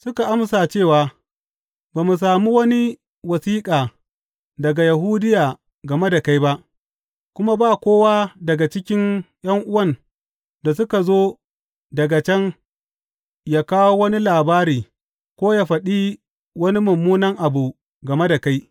Suka amsa cewa, Ba mu sami wani wasiƙa daga Yahudiya game da kai ba, kuma ba kowa daga cikin ’yan’uwan da suka zo daga can ya kawo wani labari ko ya faɗi wani mummuna abu game da kai.